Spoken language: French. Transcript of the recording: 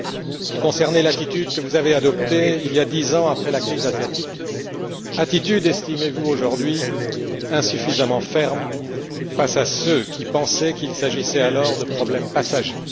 Il concernait l'attitude que vous avez adoptée il y a dix ans après la crise asiatique, attitude, estimez vous aujourd'hui, insuffisamment ferme face à ceux qui pensaient qu'il s'agissait alors de problèmes passagers.